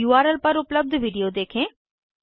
इस उर्ल पर उपलब्ध वीडियो देखें